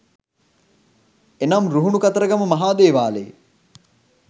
එනම් රුහුණු කතරගම මහා දේවාලයේ